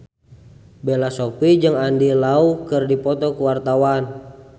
Bella Shofie jeung Andy Lau keur dipoto ku wartawan